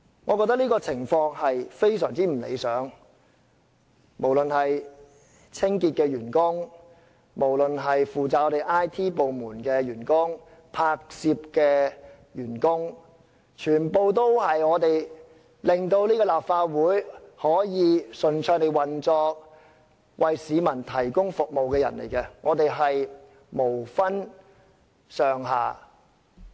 我覺得這種情況非常不理想，無論是清潔員工、IT 部門的員工、負責拍攝的員工，全部都是令立法會可以順暢地運作並為市民提供服務的人，我們無分高低。